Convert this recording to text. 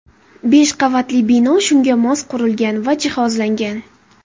Besh qavatli bino shunga mos qurilgan va jihozlangan.